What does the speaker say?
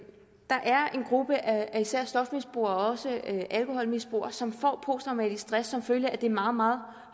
gruppe af især stofmisbrugere og også alkoholmisbrugere som får posttraumatisk stress som følge af det meget meget